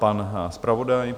Pan zpravodaj.